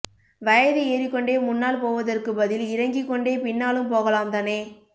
வயது ஏறிக் கொண்டே முன்னால் போவதற்குப் பதில் இறங்கிக் கொண்டே பின்னாலும் போகலாம் தானே